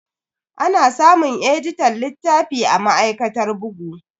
Ana samun editan littafi a ma'aikatar bugu.